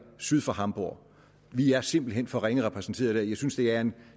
syd for hamborg vi er simpelt hen for ringe repræsenteret der jeg synes det er en